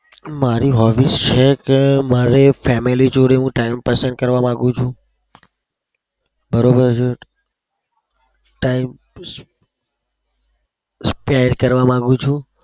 મારી hobbies છે કે મારી family જોડે હું time પસાર કરવા માગું છું. બરોબર છે? time spare કરવા માગું છું.